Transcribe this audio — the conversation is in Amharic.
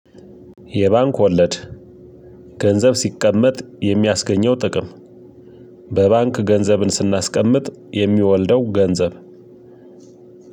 የባንክ ወለድ ገንዘብ ሲቀመጥ የሚያስገኘው ጥቅም በባንክ ገንዘብን ስናስቀምጥ የሚወልደው? ገንዘብ